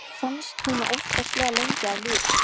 Erni fannst hún ofboðslega lengi að líða.